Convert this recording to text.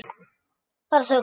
Bara þögn.